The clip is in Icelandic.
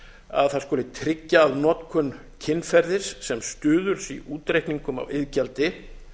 að það skuli tryggja að notkun kynferðis sem stuðuls í útreikningum á iðgjaldi